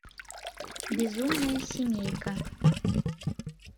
безумная семейка